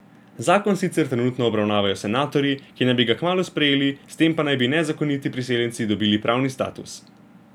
Zakon sicer trenutno obravnavajo senatorji, ki naj bi ga kmalu sprejeli, s tem pa naj bi nezakoniti priseljenci dobili pravni status.